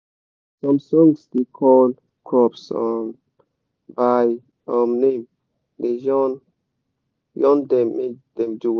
some songs dey call crops um by um name de yan yan dem make dem do well